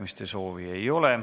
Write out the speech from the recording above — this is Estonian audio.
Kõnesoove ei ole.